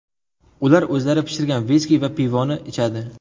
Ular o‘zlari pishirgan viski va pivoni ichadi.